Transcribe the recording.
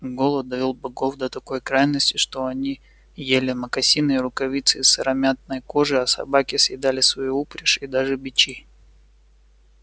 голод довёл богов до такой крайности что они ели мокасины и рукавицы из сыромятной кожи а собаки съедали свою упряжь и даже бичи